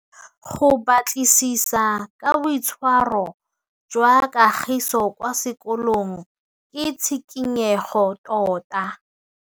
Go batlisisa ka boitshwaro jwa Kagiso kwa sekolong ke tshikinyêgô tota.